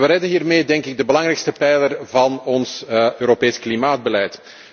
We redden hiermee, denk ik, de belangrijkste pijler van ons Europees klimaatbeleid.